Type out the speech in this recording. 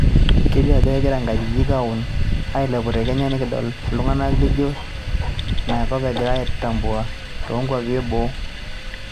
Kelio ajo kegira inkajijik oolon ailepu te kenya tenikidol itungana lijo Naenkop egirai aitambua to nkuapi e boo